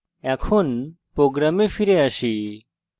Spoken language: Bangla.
program ফিরে আসি